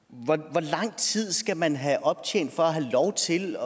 hvor lang tid skal man have optjent for at have lov til